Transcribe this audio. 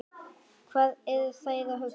Hvað eru þeir að huga?